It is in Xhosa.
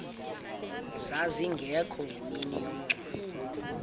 zazingekho ngemini yomngcwabo